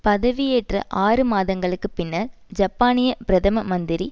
பதவியேற்ற ஆறு மாதங்களுக்கு பின்னர் ஜப்பானிய பிரதம மந்திரி